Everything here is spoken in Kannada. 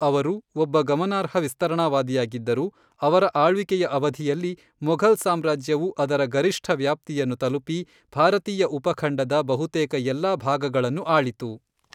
ಅವರು ಒಬ್ಬ ಗಮನಾರ್ಹ ವಿಸ್ತರಣಾವಾದಿಯಾಗಿದ್ದರು, ಅವರ ಆಳ್ವಿಕೆಯ ಅವಧಿಯಲ್ಲಿ, ಮೊಘಲ್ ಸಾಮ್ರಾಜ್ಯವು ಅದರ ಗರಿಷ್ಠ ವ್ಯಾಪ್ತಿಯನ್ನು ತಲುಪಿ, ಭಾರತೀಯ ಉಪಖಂಡದ ಬಹುತೇಕ ಎಲ್ಲಾ ಭಾಗಗಳನ್ನು ಆಳಿತು.